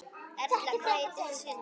Erla: Hvað heitir þessi hundur?